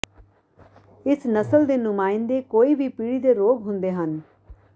ਇਸ ਨਸਲ ਦੇ ਨੁਮਾਇੰਦੇ ਕੋਈ ਵੀ ਪੀੜੀ ਦੇ ਰੋਗ ਹੁੰਦੇ ਹਨ